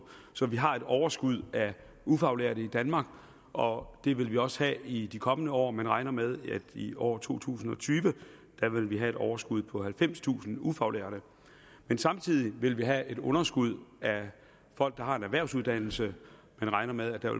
så vi har et overskud af ufaglærte i danmark og det vil vi også have i de kommende år man regner med at i år to tusind og tyve vil vi have et overskud på halvfemstusind ufaglærte men samtidig vil vi have et underskud af folk der har en erhvervsuddannelse man regner med at der